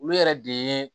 Olu yɛrɛ de ye